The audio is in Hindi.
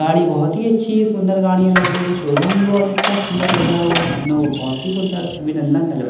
गाड़ी बहुत ही अच्‍छी है सुंदर गाड़ियां लग रही हैं शोरूम भी बहुत अच्‍छा सुंदर सजा हुआ है मानो वो बहुत ही सुंदर त अभिनंदन लग र --